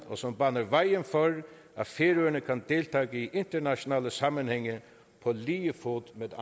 og som baner vejen for at færøerne kan deltage i internationale sammenhænge på lige fod med